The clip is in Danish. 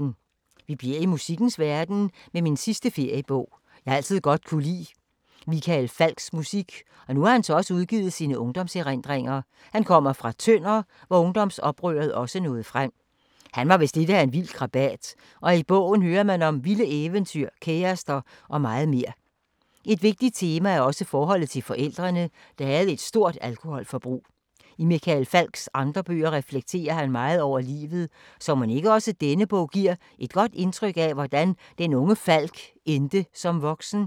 Vi bliver i musikkens verden med min sidste feriebog. Jeg har altid godt kunne lide Michael Falchs musik, og nu har han så udgivet sine ungdomserindringer. Han kommer fra Tønder, hvor ungdomsoprøret også nåede frem. Han var vist lidt af en vild krabat, og i bogen hører man om vilde eventyr, kærester og meget mere. Et vigtigt tema er også forholdet til forældrene, der havde et stort alkoholforbrug. I Michael Falchs andre bøger reflekterer han meget over livet, så mon ikke også denne bog giver et godt indtryk af, hvordan den unge Falch endte som voksen?